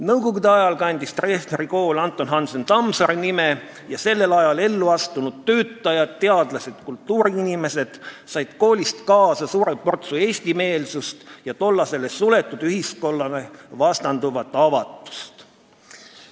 Nõukogude ajal kandis Treffneri kool Anton Hansen Tammsaare nime ning sellel ajal ellu astunud töötajad, teadlased ja kultuuriinimesed said koolist kaasa suure portsu eestimeelsust ja tollasele suletud ühiskonnale vastanduvat avatust.